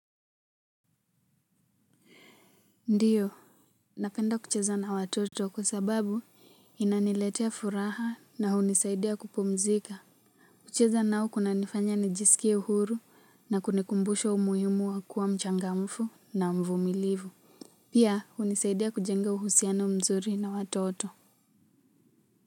Ndiyo napenda kucheza na watoto kwa sababu inaniletea furaha na hunisaidia kupumzika kucheza nao kunanifanya nijisikie huru na kunikumbusha umuhimu wa kuwa mchangamfu na mvumilivu pia hunisaidia kujenga uhusiano mzuri na watoto.